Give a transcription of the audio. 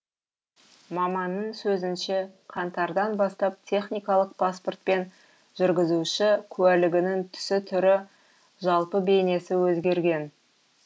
маманның сөзінше қаңтардан бастап техникалық паспорт пен жүргізуші куәлігінің түсі түрі жалпы бейнесі өзгерген